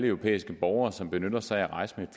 europæiske borgere som benytter sig af at rejse med